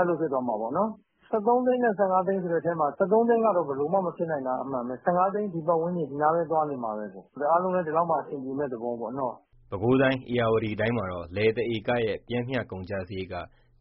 ၅ သိန်း ဆိုတဲ့အထဲမှာ ၁၃ သိန်းက ဘယ်လိုမှ မဖြစ်နိုင်တာက အမှန်ပဲ။ ၁၅ သိန်း ဒီပတ်ဝန်းကျင် ဒီနားပဲ သွားနေမှာပဲ။ အားလုံးလည်း ဒီလောက်မှ အဆင်ပြေမယ့်သဘောပေါ့ နော။" ပဲခူးတိုင်း၊ ဧရာဝတီတိုင်းမှာတော့ လယ်တဧကရဲ့ ပျမ်းမျှ ကုန်ကျစရိတ်က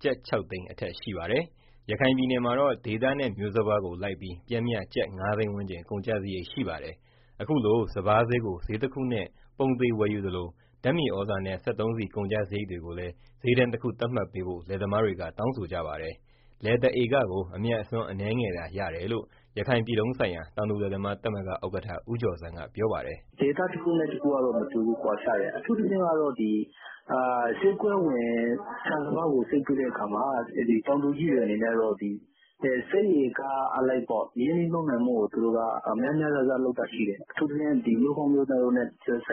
ကျပ် ၆ သိန်း အထက်ရှိပါတယ်။ ရခိုင်ပြည်နယ်မှာတော့ ဒေသနဲ့ မျိုးစပါးကိုလိုက်ပြီး ပျမ်းမျှ ကျပ် ၅ သိန်း ဝန်းကျင် ကုန်ကျစရိတ် ရှိပါတယ်။ အခုလို စပါးစျေးကို စျေးတခုနဲ့ ပုံသေ ဝယ်ယူသလို ဓာတ်မြေဩဇာနဲ့ စက်သုံးဆီ ကုန်ကျစရိတ်တွေကိုလည်း စျေးတန်းတခု သတ်မှတ်ပေးဖို့ လယ်သမားတွေက တောင်းဆိုကြပါတယ်။ လယ်တဧကကို အမြတ်အစွန်း အနည်းငယ်သာ ရတယ်လို့ ရခိုင်ပြည်လုံးဆိုင်ရာ တောင်သူလယ်သမားသမဂ္ဂ ဥက္ကဋ္ဌ ဦးကျော်ဇံက ပြောပါတယ်။ ဒေသတခုနဲ့တခုနဲ့ တခုကတော့ ကွာခြားတယ်။ အထူးသဖြင့် စျေးကွက်ဝင် ဆန်စပါးကို စိုက်ပျိုးတဲ့အခါမှာ တောင်သူကြီးတွေ အနေနဲ့က စိုက်ဧကအလိုက် ရင်နှီးမြှုပ်နှံမှုကို များများစားစား လုပ်တာရှိတယ်။ အထူးသဖြင့် မျိုးကောင်းမျိုးသန့်နဲ့ န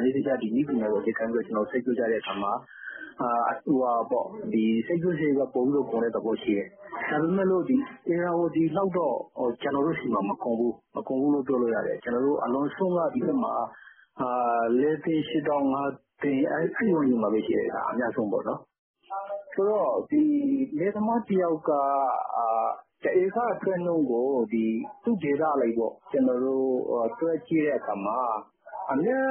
ည်းပညာကို အခြေခံပြီး စိုက်ပျိုးကြတဲ့အခါမှာ စိုက်ပျိုးစရိတ်က ပိုပြီးကုန်တဲ့ သဘောရှိတယ်။ ဒါပေမဲ့ ဧရာဝတီလောက်တော့ ကျနော်တို့ဆီမှာ မကောင်းဘူးလို့ ပြောလို့ရတယ်။ အလွန်ဆုံးက ဒီဘက်မှာ ၄၈၀,၀၀၀- ၅၀၀,၀၀၀ အဲဝန်းကျင်မှာပဲရှိတယ် အများဆုံးပေါ့။ ဆိုတော့ လယ်သမားတယောက်က တဧကအထွက်နှုန်းကို သူ့ဒေသအလိုက် တွက်ကြည့်တဲ့အခါမှာ အမြတ်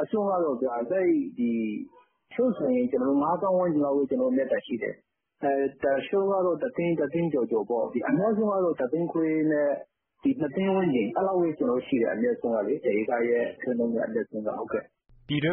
အစွန်းက တချို့ဆိုရင် ငါးသောင်း ဝန်းကျင်လောက်ပဲ မြတ်တာရှိတယ်။ တချို့ကတော့ တသိန်း၊ တသိန်း ကျော်ကျော်ပေါ့။ အများဆုံးကတော့ တသိန်းခွဲနဲ့ နှစ်သိန်းဝန်းကျင် အဲလောက်ပဲရှိတယ်။ တဧကရဲ့အမြတ်အစွန်းက။" ပြည်တွင်း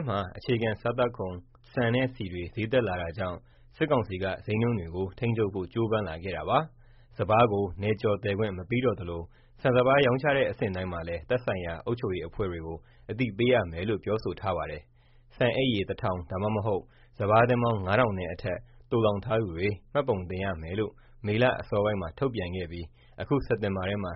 မှာ အခြေခံစားသောက်ကုန် ဆန်နဲ့ဆီတွေ စျေးတက်လာတာကြောင့် စစ်ကောင်စီက စျေးနှုန်းတွေကို ထိန်းချုပ်ဖို့ ကြိုးပမ်းလာခဲ့တာပါ။ စပါးကို နယ်ကျော်သယ်ခွင့် မပေးတော့သလို ဆန်စပါးရောင်းချတဲ့ အဆင့်တိုင်းမှာလည်း သက်ဆိုင်ရာ အုပ်ချုပ်ရေးအဖွဲ့တွေကို အသိပေးရမယ်လို့ ပြောဆိုထားပါတယ်။ ဆန်အိတ်ရေ ၁,၀၀၀ ဒါမှမဟုတ် စပါးတင်းပေါင်း ၅,၀၀၀ နဲ့အထက် သိုလှောင်ထားသူတွေ မှတ်ပုံတင်ရမယ်လို့ မေလအစောပိုင်းမှာ ထုတ်ပြန်ခဲ့ပြီး အခု စက်တင်ဘာထဲမှာ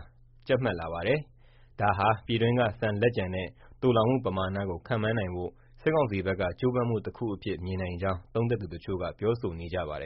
ကြပ်မတ်လာပါတယ်။ ဒါဟာ ပြည်တွင်းက ဆန်လက်ကျန်နဲ့ သိုလှောင်မှုပမာဏကို ခန့်မှန်းနိုင်ဖို့ စစ်ကောင်စီဘက်က ကြိုးပမ်းမှုတခုအဖြစ် မြင်နိုင်ကြောင်း သုံးသပ်သူတချို့က ပြောဆိုနေကြပါတယ်